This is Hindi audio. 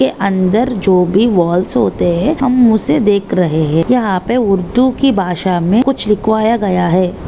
ये अंदर जो भी वॉल्स होते है हम उसे देख रहे है यहा पे उर्दू की भाषा में कुछ लिखवाया गया है।